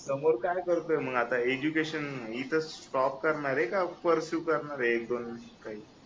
समोर काय करतोय मग आता एज्युकेशन इथच स्टॉप करणार आहे का पर्सीव करणार आहे एक-दोन असं काही